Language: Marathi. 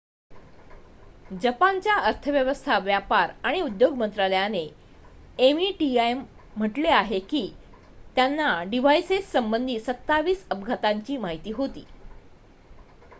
जपानच्या अर्थव्यवस्था व्यापार आणि उद्योग मंत्रालयाने meti म्हटलेआहे की त्यांना डिव्हाइसेस संबंधित 27 अपघातांची माहिती होती